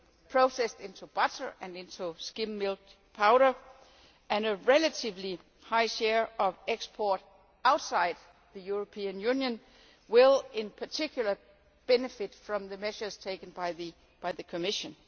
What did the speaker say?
milk processed into butter and into skimmed milk powder, and a relatively high share of export outside the European Union, will, in particular, benefit from the measures taken by the Commission.